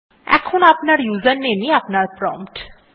এখন আপনার ইউজারনেম ই আপনার প্রম্পট